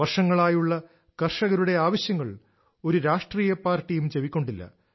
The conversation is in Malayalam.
വർഷങ്ങളായുള്ള കർഷകരുടെ ആവശ്യങ്ങൾ ഒരു രാഷ്ട്രീയ പാർട്ടിയും ചെവിക്കൊണ്ടില്ല